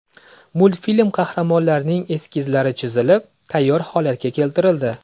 Multfilm qahramonlarining eskizlari chizilib, tayyor holatga keltirildi.